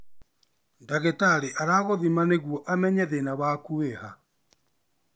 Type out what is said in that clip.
Ndagĩtarĩ aragũthima nĩguo amenye thina waku wĩha